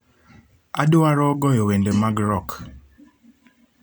Adwaro goyo wende mag rock